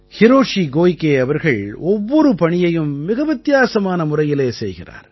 Hiroshi Koike அவர்கள் ஒவ்வொரு பணியையும் மிக வித்தியாசமான முறையிலே செய்கிறார்